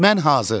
Mən hazır.